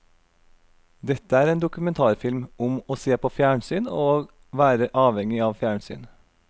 Dette er en dokumentarfilm om å se på fjernsyn og være avhengig av fjernsyn.